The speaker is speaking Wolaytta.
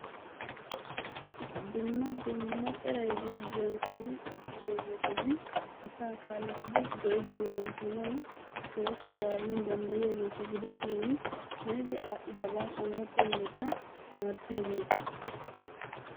Dumma dumma eraayi gugiyaani kumi uttiddogettannee asaa kalettidi zoridi wozantanawu woyko zaranawu dandayigettaa gidishin haniddi adhdhidabbaa orattaa yelettaa tamarisiyagettaa.